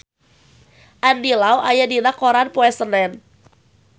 Andy Lau aya dina koran poe Senen